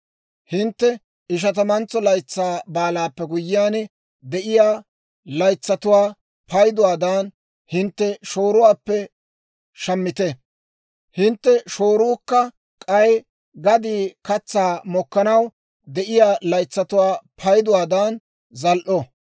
Hintte Ishatamantso Laytsaa Baalaappe guyyiyaan de'iyaa laytsatuwaa payduwaadan hintte shooruwaappe shammite; hintte shooruukka k'ay gadii katsaa mokkanaw de'iyaa laytsatuwaa payduwaadan zal"o.